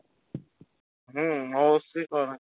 হ্যাঁ অবশ্যই